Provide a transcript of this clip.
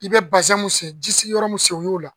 I bɛ mun sen, ji sigiyɔrɔ mun sen o y'o la